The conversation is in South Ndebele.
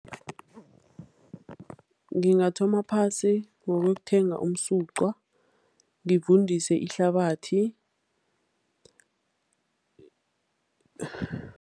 Ngingathoma phasi ngokuyokuthenga umsuqwa, ngivundise ihlabathi